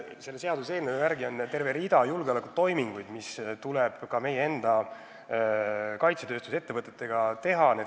Selle seaduse järgi on terve rida julgeolekutoiminguid, mis tuleb ka meie enda kaitsetööstusettevõtetega teha.